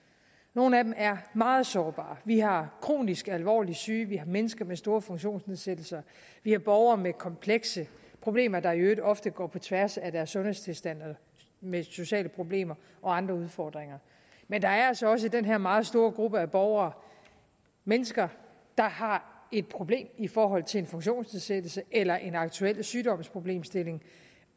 nogle af dem er meget sårbare vi har kronisk alvorligt syge vi har mennesker med store funktionsnedsættelser vi har borgere med komplekse problemer der i øvrigt ofte går på tværs af deres sundhedstilstand og med sociale problemer og andre udfordringer men der er altså også i den her meget store gruppe af borgere mennesker der har et problem i forhold til en funktionsnedsættelse eller en aktuel sygdomsproblemstilling